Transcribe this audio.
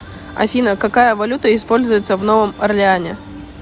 афина какая валюта используется в новом орлеане